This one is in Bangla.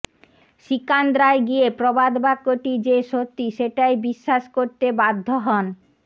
সিকান্দ্রায় গিয়ে প্রবাদ বাক্যটি যে সত্যি সেটাই বিশ্বাস করতে বাধ্য হন